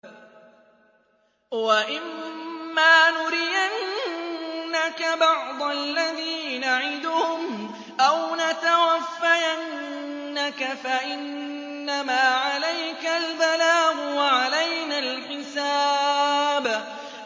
وَإِن مَّا نُرِيَنَّكَ بَعْضَ الَّذِي نَعِدُهُمْ أَوْ نَتَوَفَّيَنَّكَ فَإِنَّمَا عَلَيْكَ الْبَلَاغُ وَعَلَيْنَا الْحِسَابُ